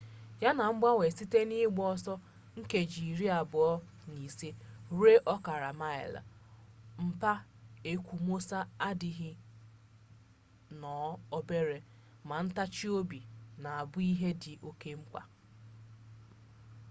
ya na ngbanwe site n'ịgba ọsọ nkeji iri na ise ruo ọkara maịlị mkpa ekwomọsọ adịzie nnọọ obere ma ntachi obi na-abụ ihe dị oke mkpa